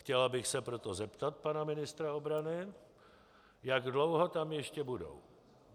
Chtěla bych se proto zeptat pana ministra obrany, jak dlouho tam ještě budou.